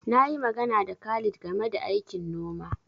Na yi magana da Khalid game da aikin gona.